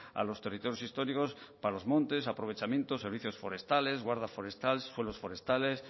a los territorios históricos para los montes aprovechamientos servicios forestales guarda forestal suelos forestales